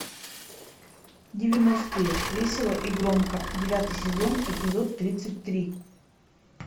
девяностые весело и громко девятый сезон эпизод тридцать три